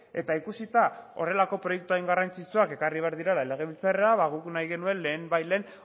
eta ikusita horrelako proiektu hain garrantzitsuak ekarri behar direla legebiltzarrera ba guk nahi genuen lehenbailehen